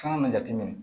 Fɛn min jateminɛ